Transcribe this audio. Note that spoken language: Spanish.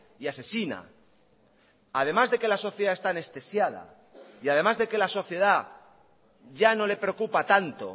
y asesina además de que la sociedad está anestesiada y además de que la sociedad ya no le preocupa tanto